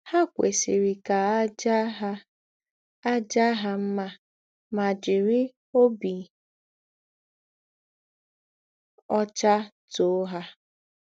Há kwesírí kà à jàá hà à jàá hà mmà mà jìrí òbí ọ́chá tòó hà.